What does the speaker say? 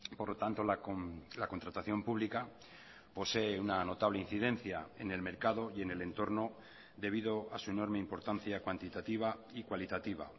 por lo tanto la contratación pública posee una notable incidencia en el mercado y en el entorno debido a su enorme importancia cuantitativa y cualitativa